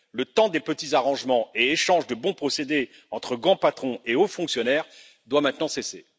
Le temps des petits arrangements et échanges de bons procédés entre grands patrons et hauts fonctionnaires doit maintenant cesser.